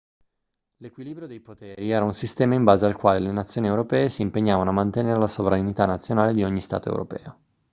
l'equilibrio dei poteri era un sistema in base al quale le nazioni europee si impegnavano a mantenere la sovranità nazionale di ogni stato europeo